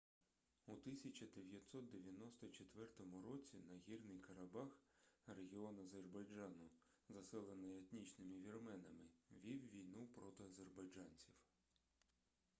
у 1994 році нагірний карабах регіон азербайджану заселений етнічними вірменами вів війну проти азербайджанців